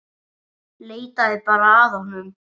Leitaðu bara að honum.